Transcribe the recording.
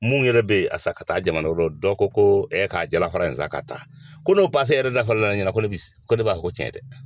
Mun yɛrɛ bɛ a san ka taa jamana la, dɔ ko ko ɛ k'a jala fara in san ka taa, ko n'o pase yɛrɛ da fɔ la ne yɛrɛ ɲɛnɛ ko ne b'i ko ne b'a fɔ ko tiɲɛ tɛ.